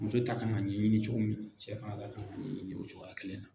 Muso ta kan ka ɲɛɲini cogo min cɛ fana kan ka ɲɛɲini o cogoya kelen na.